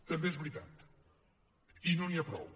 també és veritat i no n’hi ha prou